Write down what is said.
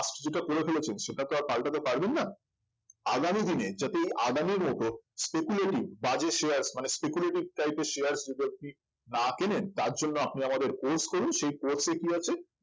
যেটা করে ফেলেছেন সেটা তো আর পাল্টাতে পারবেন না আগামী দিনে যাতে এই আদানির মত speculity বাজে share মানে speculitic type এর share . না কিনে তার জন্য আপনি আমাদের course করুন সেই course এ কি আছে